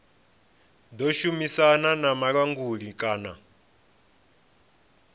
ḓo shumisana na vhulanguli kana